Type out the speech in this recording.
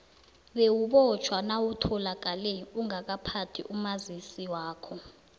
bewubotjhwa nawutholakale ungakaphathi umazisi wakho